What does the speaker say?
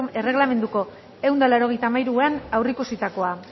erregelamenduko ehun eta laurogeita hamairuan aurreikusitakoa